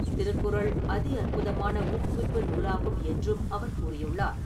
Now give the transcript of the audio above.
திருக்குறள் அதி அற்புதமான ஊக்குவிப்பு நூலாகும் என்றும், அவர் கூறியுள்ளார்.